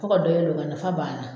To ka dɔ yɛlɛman nafa banna.